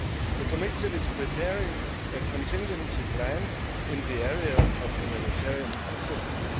The Commission is preparing a contingency plan in the area of humanitarian assistance.